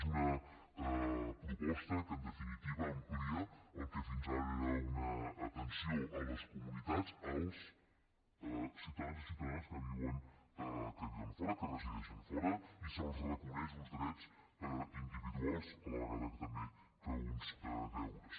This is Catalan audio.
és una proposta que en definitiva amplia el que fins ara era una atenció a les comunitats als ciutadans i ciutadanes que viuen fora que resideixen fora i se’ls reconeix uns drets individuals a la vegada que també uns deures